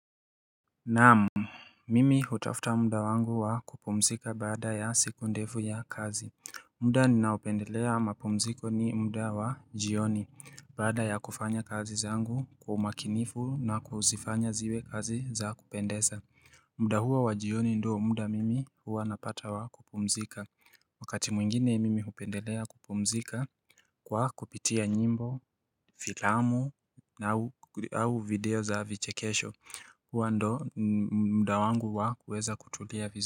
Naam, mimi hutafuta muda wangu wa kupumzika baada ya siku ndefu ya kazi muda ninaopendelea mapumziko ni muda wa jioni baada ya kufanya kazi zangu kwa umakinifu na kuzifanya ziwe kazi za kupendeza muda huo wa jioni ndio muda mimi huwa napata wa kupumzika Wakati mwingine mimi hupendelea kupumzika kwa kupitia nyimbo, filamu na au video za vichekesho Hua ndo muda wangu wa kuweza kutulia viz.